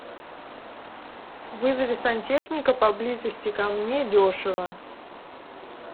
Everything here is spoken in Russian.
вызови сантехника поблизости ко мне дешево